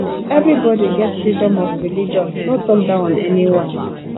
everybody get freedom of religion no talk down on any one